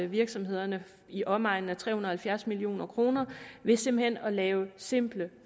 virksomhederne i omegnen af tre hundrede og halvfjerds million kroner ved simpelt hen at lave simple